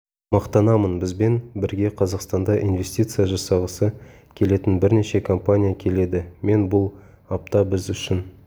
мақтанамын бізбен бірге қазақстанда инвестиция жасағысы келетін бірнеше компания келеді мен бұл апта біз үшін